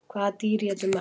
Hvaða dýr étur mest?